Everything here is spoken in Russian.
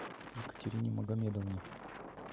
екатерине магомедовне